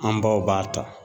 An baw b'a ta